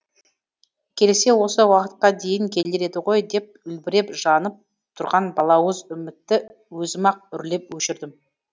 келсе осы уақытқа дейін келер еді ғой деп үлбіреп жанып тұрған балауыз үмітті өзім ақ үрлеп өшірдім